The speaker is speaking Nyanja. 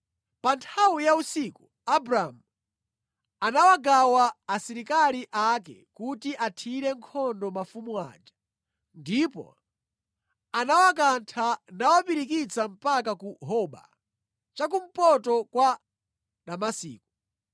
Pa nthawi ya usiku Abramu anawagawa asilikali ake kuti athire nkhondo mafumu aja, ndipo anawakantha nawapirikitsa mpaka ku Hoba, cha kumpoto kwa Damasiko.